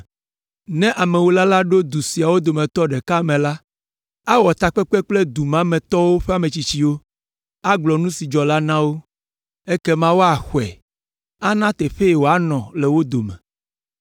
Ne amewula la ɖo du siawo dometɔ ɖeka me la, awɔ takpekpe kple du ma me tɔwo ƒe ametsitsiwo, agblɔ nu si dzɔ la na wo, ekema woaxɔe, ana teƒee wòanɔ le wo dome.